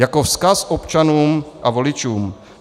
Jako vzkaz občanům a voličům.